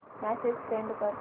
message send कर